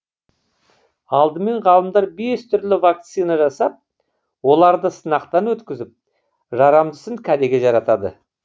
алдымен ғалымдар бес түрлі вакцина жасап оларды сынақтан өткізіп жарамдысын кәдеге жаратады